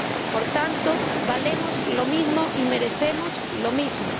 Por tanto, valemos lo mismo y merecemos lo mismo.